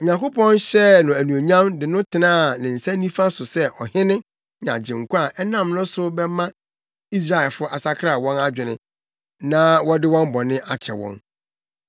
Onyankopɔn hyɛɛ no anuonyam de no tenaa ne nsa nifa so sɛ Ɔhene ne Agyenkwa a ɛnam no so bɛma Israelfo asakra wɔn adwene na wɔde wɔn bɔne akyɛ wɔn.